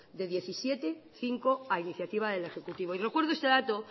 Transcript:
de diecisiete cinco a iniciativa del ejecutivo y recuerdo este dato